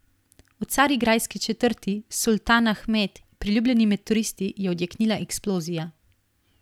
V carigrajski četrti Sultanahmet, priljubljeni med turisti, je odjeknila eksplozija.